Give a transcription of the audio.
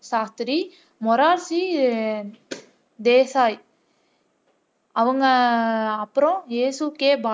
சாஸ்தி மொராஜி தேசாய் அவங்க அப்புறம்